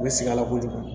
U bɛ sɛgɛn a la kojugu